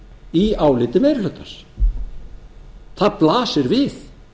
í áliti meiri hlutans það blasir við